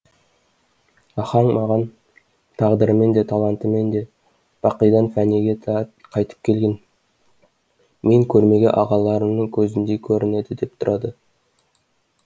ахаң маған тағдырымен де талантымен де бақидан фәниге қайтып келген мен көрмеген ағаларымның көзіндей көрінеді де тұрады